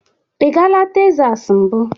Ị gala Tesas mbụ?